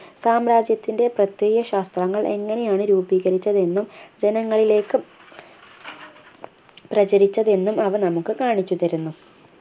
സാമ്രാജ്യത്തിൻ്റെ പ്രത്യയശാസ്ത്രങ്ങൾ എങ്ങനെയാണ് രൂപീകരിച്ചതെന്നും ജനങ്ങളിലേക്ക് പ്രചരിച്ചതെന്നും അവ നമുക്ക് കാണിച്ചു തരുന്നു